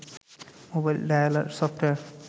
mobile dialer software